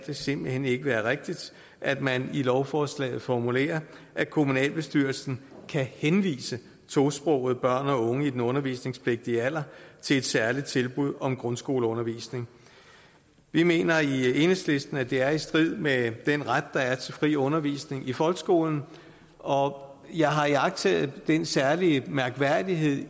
det simpelt hen ikke være rigtigt at man i lovforslaget formulerer at kommunalbestyrelsen kan henvise tosprogede børn og unge i den undervisningspligtige alder til et særligt tilbud om grundskoleundervisning vi mener i enhedslisten at det er i strid med den ret der er til fri undervisning i folkeskolen og jeg har iagttaget den særlige mærkværdighed